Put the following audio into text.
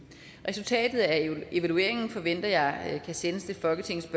resultatet af evalueringen forventer jeg kan sendes til folketingets